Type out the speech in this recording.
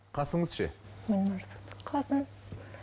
қасыңыз ше